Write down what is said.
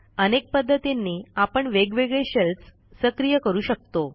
अनेक पध्दतींनी आपण वेगवेगळे शेल्स सक्रिय करू शकतो